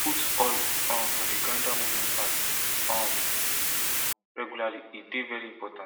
put oil um for d grinder moving parts um parts um regularly e dey vey important